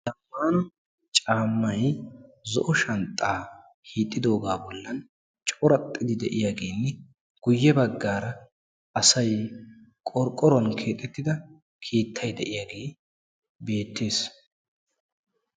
Hagan caammay zo"o shanxxaa hiixxidoogaa bollan coraxxidi de"iyaageenne guyye baggaara asay qorqoruwan keexettida keettay de"iyaagee beettes.